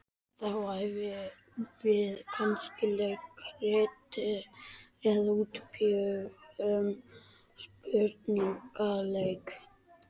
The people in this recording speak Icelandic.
Þá æfðum við kannski leikrit eða útbjuggum spurningaleik.